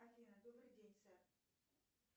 афина добрый день сэр